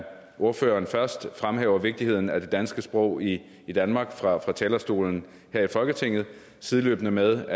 ordføreren fremhæver vigtigheden af det danske sprog i i danmark fra talerstolen her i folketinget sideløbende med